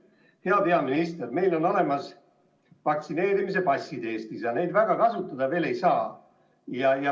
Hea peaminister, meil on Eestis olemas vaktsineerimispassid, aga neid eriti kasutada ei saa.